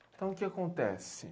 Então, o que acontece?